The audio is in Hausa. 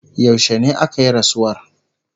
yaushene akayi rasuwar?